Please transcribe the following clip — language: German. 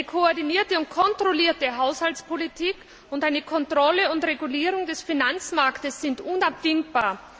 Eine koordinierte und kontrollierte Haushaltspolitik und eine Kontrolle und Regulierung des Finanzmarkts sind unabdingbar.